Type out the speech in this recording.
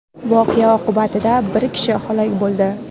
Voqea oqibatida bir kishi halok bo‘ldi.